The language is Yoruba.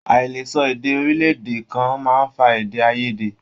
Aìlesọ èdè orilẹ-èdè kan máa n fà èdè aiyèdè.